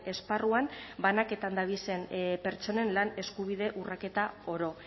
esparruan banaketan dabizen pertsonen lan eskubide urraketa oro